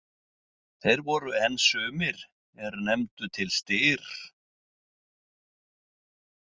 Þeir voru enn sumir er nefndu til Styr.